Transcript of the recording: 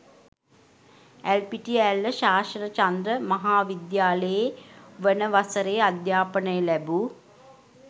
ඇල්පිටිය ඇල්ල ශාසනචන්ද්‍ර මහ විද්‍යාලයේ වන වසරේ අධ්‍යාපනය ලැබූ